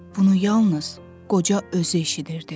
Bunu yalnız qoca özü eşidirdi.